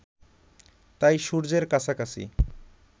তাই সূর্যের কাছাকাছি